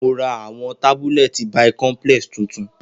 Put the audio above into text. Mo ra awọn tabulẹti bicomplex tuntun